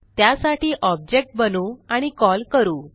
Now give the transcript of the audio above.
त्यासाठी ऑब्जेक्ट बनवू आणि कॉल करू